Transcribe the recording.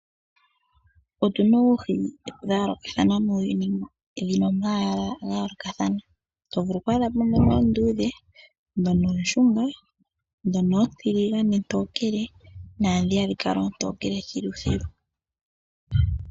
Otu na oohi dha yoolokathana muuyuni, dhina omayala ga yoolokathana. To vulu oku adha muna oonduudhe, dhono ooshunga, dhono oontiligane-tokele, na dhoka oontoke thiluthilu.